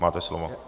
Máte slovo.